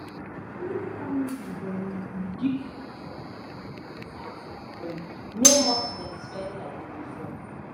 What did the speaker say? smith family don reduce dia chop-money inside salary no more spend spend like before.